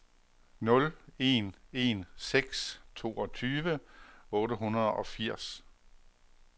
nul en en seks toogtyve otte hundrede og firs